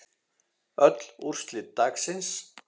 Öll úrslit dagsins